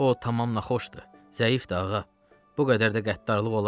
O tamam naxoşdur, zəifdir, ağa, bu qədər də qəddarlıq olarmı?